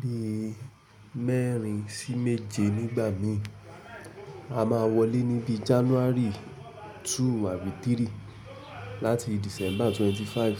bi mẹ́rin sí méje nígbà mi. A máa wọlé níbi January 2 àti 3 láti December 25.